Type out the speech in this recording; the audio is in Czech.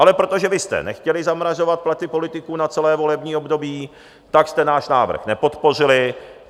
Ale protože vy jste nechtěli zamrazovat platy politiků na celé volební období, tak jste náš návrh nepodpořili.